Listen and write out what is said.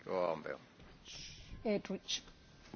Thank you and good evening to you.